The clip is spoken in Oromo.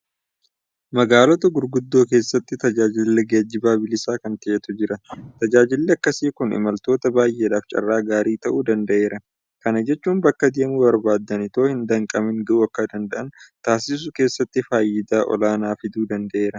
Magaalota guguddoo keessatti tajaajilli geejibaa bilisa kan ta'etu jira. Tajaajilli akkasii kun imaltoota baay'eedhaaf carraa gaarii ta'uu danda'eera. Kana jechuun bakka deemuu barbaadan itoo hin danqamin ga'uu akka danda'an taasisuu keessatti faayidaa olaanaa fiduu danda'eera.